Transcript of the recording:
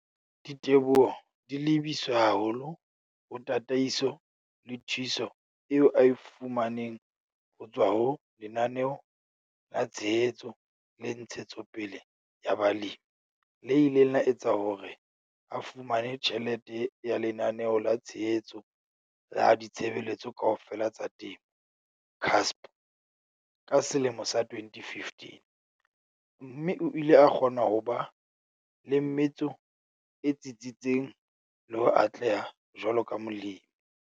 Diteboho di lebiswe haholo ho tataiso le thuso eo a e fu maneng ho tswa ho Lenaneo la Tshehetso le Ntshetsopele ya Balemi le ileng la etsa hore a fumane tjhelete ya Lenaneo la Tshehetso la Ditshebeletso Kaofela tsa Temo, CASP, ka selemo sa 2015, mme o ile a kgona ho ba le metso e tsitsitseng le ho atleha jwaloka Molemi.